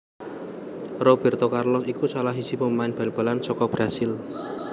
Robérto Carlos iku salah siji pemain bal balan saka Brasil